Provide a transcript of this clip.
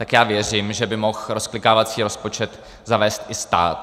Tak já věřím, že by mohl rozklikávací rozpočet zavést i stát.